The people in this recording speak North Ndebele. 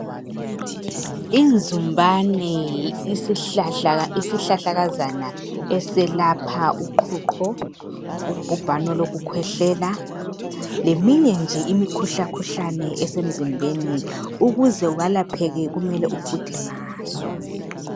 Inzumbane isihlahla isihlahlakazana eselapha uqhuqho ubhubhane olokukhwehlela leminye nje imikhuhlakhuhlane esemzimbeni ukuze welapheke kumele ufuthe ngaso.